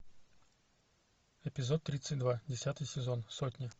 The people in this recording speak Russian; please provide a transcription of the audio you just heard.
эпизод тридцать два десятый сезон сотня